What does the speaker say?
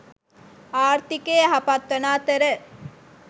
ආර්ථිකය යහපත්වන අතර